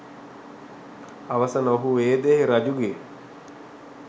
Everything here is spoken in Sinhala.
අවසන ඔහු වේදේහ රජුගේ